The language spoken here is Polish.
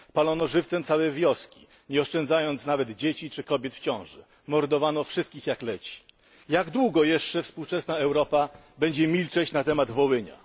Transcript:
Palono żywcem całe wioski, nie oszczędzając nawet dzieci czy kobiet w ciąży, mordowano wszystkich jak leci. Jak długo jeszcze współczesna Europa będzie milczeć na temat Wołynia?